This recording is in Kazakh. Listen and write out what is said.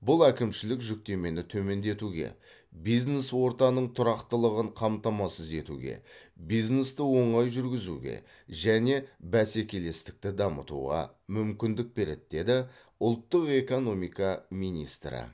бұл әкімшілік жүктемені төмендетуге бизнес ортаның тұрақтылығын қамтамасыз етуге бизнесті оңай жүргізуге және бәсекелестікті дамытуға мүмкіндік береді деді ұлттық экономика министрі